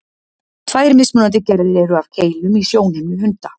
Tvær mismunandi gerðir eru af keilum í sjónhimnu hunda.